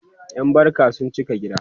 ƴan barka sun cika gida